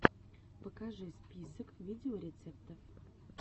покажи список видеорецептов